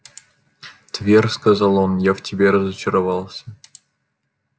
твер сказал он я в тебе разочаровался